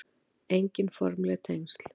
Engin formleg tengsl